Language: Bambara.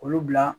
Olu bila